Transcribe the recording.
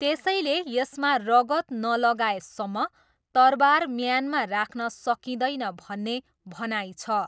त्यसैले यसमा रगत नलगाएसम्म तरबार म्यानमा राख्न सकिँदैन भन्ने भनाइ छ।